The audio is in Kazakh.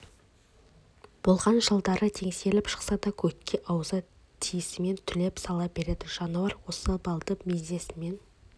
болған жылдары теңселіп шықса да көкке аузы тиісімен түлеп сала береді жануар осы малды бизнесінің